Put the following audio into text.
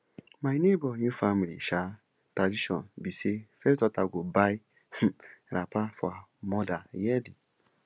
my nebor new family um tradition be say first daughter go buy um wrapper for her mother yearly